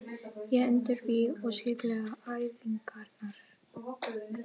Ég undirbý og skipulegg æfingarnar.